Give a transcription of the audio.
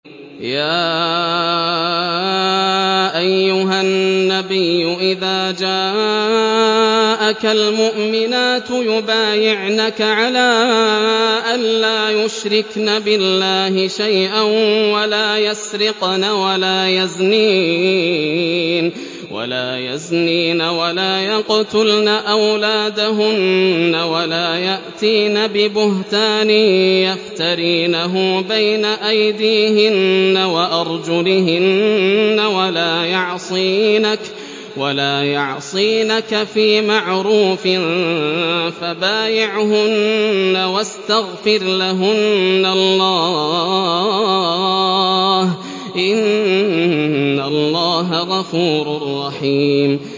يَا أَيُّهَا النَّبِيُّ إِذَا جَاءَكَ الْمُؤْمِنَاتُ يُبَايِعْنَكَ عَلَىٰ أَن لَّا يُشْرِكْنَ بِاللَّهِ شَيْئًا وَلَا يَسْرِقْنَ وَلَا يَزْنِينَ وَلَا يَقْتُلْنَ أَوْلَادَهُنَّ وَلَا يَأْتِينَ بِبُهْتَانٍ يَفْتَرِينَهُ بَيْنَ أَيْدِيهِنَّ وَأَرْجُلِهِنَّ وَلَا يَعْصِينَكَ فِي مَعْرُوفٍ ۙ فَبَايِعْهُنَّ وَاسْتَغْفِرْ لَهُنَّ اللَّهَ ۖ إِنَّ اللَّهَ غَفُورٌ رَّحِيمٌ